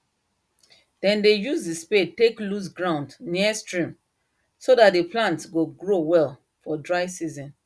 dem dey use the spade take loose ground near stream so that the plant go grow well for dry season